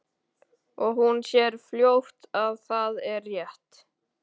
Og hún sér fljótt að það er rétt.